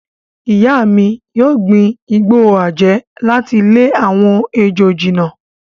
Ìyá mi yóò gbin igbó àjẹ́ láti lé àwọn ejò jìnnà.